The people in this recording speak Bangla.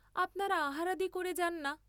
আপনারা আহারাদি করে যান না?